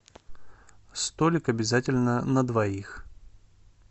столик обязательно на двоих